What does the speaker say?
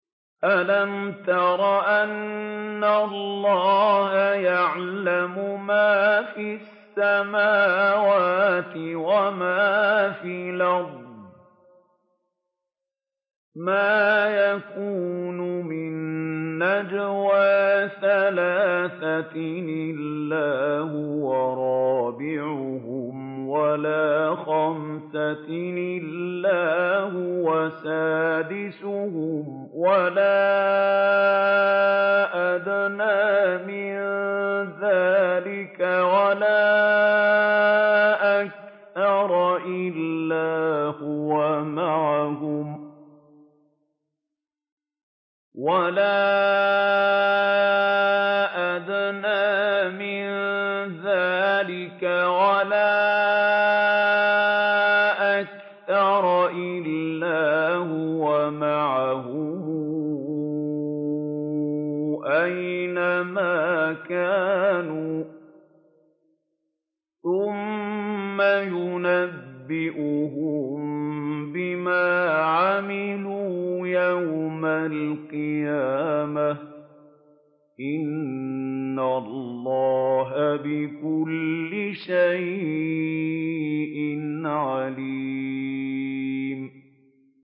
أَلَمْ تَرَ أَنَّ اللَّهَ يَعْلَمُ مَا فِي السَّمَاوَاتِ وَمَا فِي الْأَرْضِ ۖ مَا يَكُونُ مِن نَّجْوَىٰ ثَلَاثَةٍ إِلَّا هُوَ رَابِعُهُمْ وَلَا خَمْسَةٍ إِلَّا هُوَ سَادِسُهُمْ وَلَا أَدْنَىٰ مِن ذَٰلِكَ وَلَا أَكْثَرَ إِلَّا هُوَ مَعَهُمْ أَيْنَ مَا كَانُوا ۖ ثُمَّ يُنَبِّئُهُم بِمَا عَمِلُوا يَوْمَ الْقِيَامَةِ ۚ إِنَّ اللَّهَ بِكُلِّ شَيْءٍ عَلِيمٌ